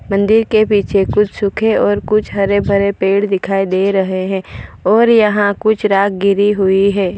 मंदिर के पीछे कुछ सुख और कुछ हरे भरे पेड़ दिखाई दे रहे हैं और यहां कुछ राख गिरी हुई है।